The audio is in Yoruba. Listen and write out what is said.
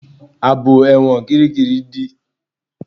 Àbò ẹ̀wọ̀n kíríkirì dí.